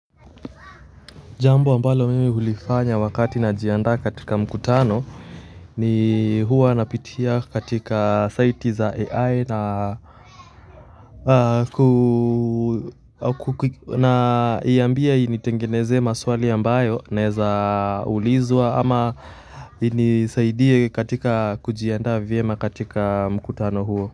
Jambo ambalo mimi ulifanya wakati najiandaa katika mkutano ni huwa napitia katika saiti za AI na iambia initengenezee maswali ambayo naeza ulizwa ama inisaidie katika kujianda vyema katika mkutano huo.